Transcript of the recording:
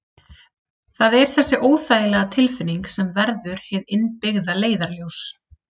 Það er þessi óþægilega tilfinning sem verður hið innbyggða leiðarljós.